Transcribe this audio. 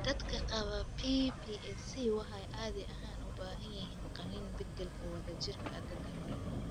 Dadka qaba PPAC waxay caadi ahaan u baahan yihiin qalliin beddelka wadajirka ah da'da hore.